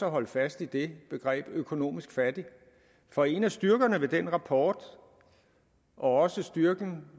holde fast i det begreb økonomisk fattig for en af styrkerne ved den rapport og også styrken